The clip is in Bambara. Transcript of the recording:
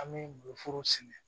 An bɛ foro sɛnɛ